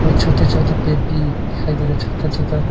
छोटे छोटे पेड़ भी दिखाई दे रहे छोटा छोटा--